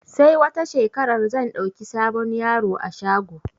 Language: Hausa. Sai wata shekarar zan ɗauki sabon yaro a shago